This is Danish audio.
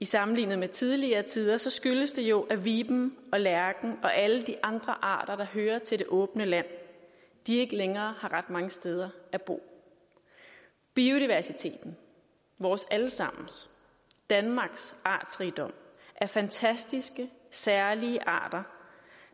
sammenlignet med tidligere tider skyldes det jo at viben og lærken og alle de andre arter der hører til det åbne land ikke længere har ret mange steder at bo biodiversiteten vores alle sammens danmarks artsrigdom af fantastiske særlige arter